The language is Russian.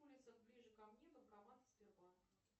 улицах ближе ко мне банкоматы сбербанка